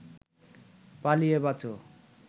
পালিয়ে বাঁচ